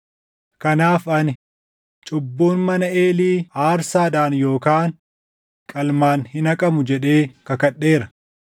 Kanaaf ani, ‘Cubbuun mana Eelii aarsaadhaan yookaan qalmaan hin haqamu’ jedhee kakadheera.”